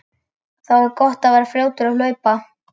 Þá er gott að vera fljótur að hlaupa.